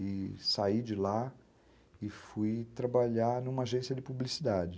E saí de lá e fui trabalhar numa agência de publicidade.